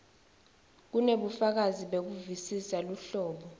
kunebufakazi bekuvisisa luhlobo